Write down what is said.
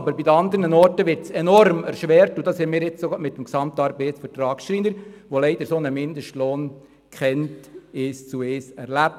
Aber bei den anderen wird es enorm erschwert, und das haben wir auch gerade jetzt mit dem Gesamtarbeitsvertrag der Schreiner, der leider einen solchen Mindestlohn kennt, eins zu eins erlebt.